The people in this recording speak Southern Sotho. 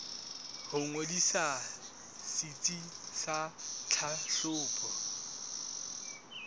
ho ngodisa setsi sa tlhahlobo